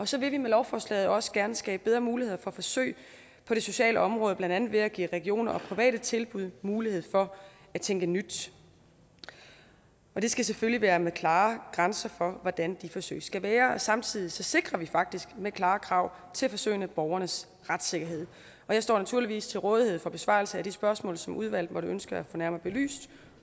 så vil vi med lovforslaget også gerne skabe bedre muligheder for forsøg på det sociale område blandt andet ved at give regioner og private tilbud mulighed for at tænke nyt det skal selvfølgelig være med klare grænser for hvordan de forsøg skal være samtidig sikrer vi faktisk med klare krav til forsøgene borgernes retssikkerhed jeg står naturligvis til rådighed for besvarelse af de spørgsmål som udvalget måtte ønske at få nærmere belyst